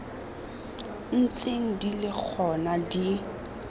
ntseng di le gona di